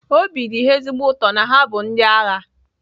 Obi dị ha ezigbo ụtọ na ha bụ ndị agha